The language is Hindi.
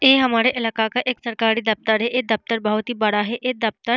यह हमारे इलाका का एक सरकारी दफ्तर है। ये दफ्तर बहुत ही बड़ा है ये दफ्तर--